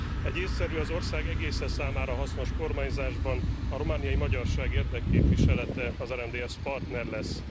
Egy észszerű, az ország egésze számára hasznos kormányzásban a romániai magyarság érdekképviselete, az RMDSZ partner lesz.